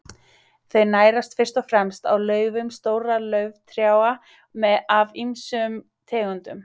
Þau nærast fyrst og fremst á laufum stórra lauftrjáa af ýmsum tegundum.